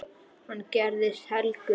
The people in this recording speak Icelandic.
Hann gerðist helgur maður.